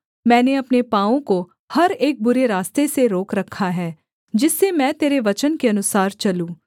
मैंने अपने पाँवों को हर एक बुरे रास्ते से रोक रखा है जिससे मैं तेरे वचन के अनुसार चलूँ